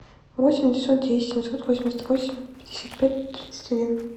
восемь девятьсот десять семьсот восемьдесят восемь пятьдесят пять тридцать один